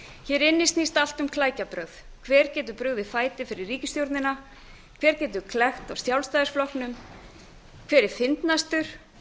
hér inni snýst allt um klækjabrögð hver getur brugðið fæti fyrir ríkisstjórnina hver getur klekkt á sjálfstæðisflokknum hver er fyndnastur